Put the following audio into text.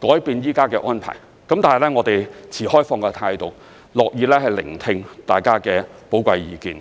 改變現時的安排，但我們持開放態度，樂意聆聽大家的寶貴意見。